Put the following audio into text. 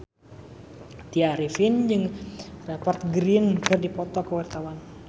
Tya Arifin jeung Rupert Grin keur dipoto ku wartawan